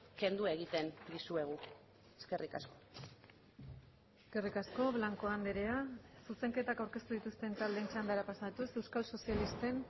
kendu egiten dizuegu eskerrik asko eskerrik asko blanco andrea zuzenketak aurkeztu dituzten taldeen txandara pasatuz euskal sozialisten